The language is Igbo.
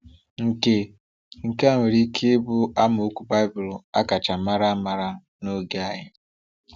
Nke Nke a nwere ike ịbụ amaokwu Baịbụl a kacha mara ama n’oge anyị.